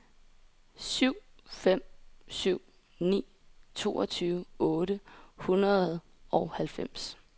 syv fem syv ni toogtyve otte hundrede og halvfems